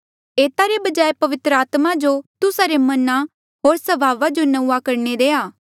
एता रे बजाय पवित्र आत्मा जो तुस्सा रे मना होर स्वभावा जो नंऊँआं करणे देआ